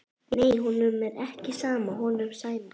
Nei, honum er ekki sama honum Sæma.